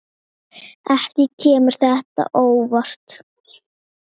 Ekki kemur þetta á óvart.